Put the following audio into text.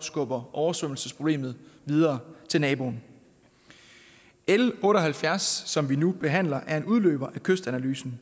skubber oversvømmelsesproblemet videre til naboen l otte og halvfjerds som vi nu behandler er en udløber af kystanalysen